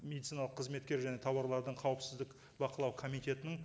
медициналық қызметкер және тауарлардың қауіпсіздік бақылау комитетінің